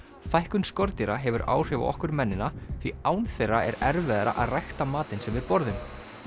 fækkun skordýra hefur áhrif á okkur mennina því án þeirra er erfiðara að rækta matinn sem við borðum